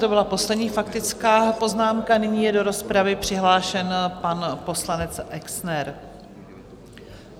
To byla poslední faktická poznámka, nyní je do rozpravy přihlášen pan poslanec Exner.